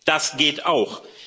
Das geht auch.